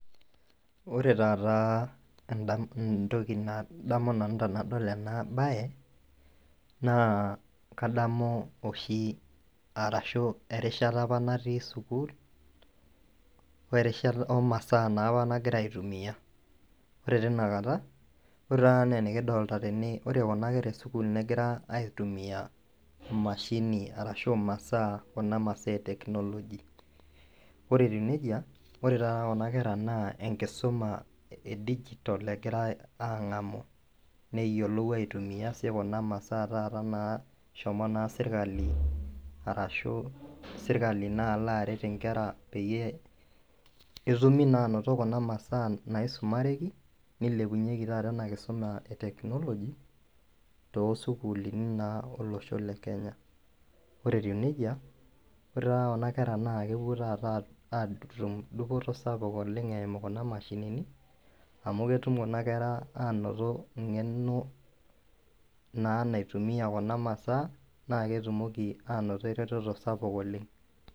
ore taata entoki nadamu naa erushata apa nati sukuul omasaa apa nagira aitumia anaa kuna masaa e technology neyiolou kuna masaa naagira serikali ayau ele osho le kenya. naa ketum dupoto tenebo o ngeno tenkaraki naa keretisho esiai e teckonologia oleng